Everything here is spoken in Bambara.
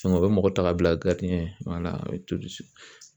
o bɛ mɔgɔ ta ka bila ye